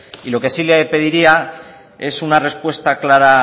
lo que sí le pediría es una respuesta clara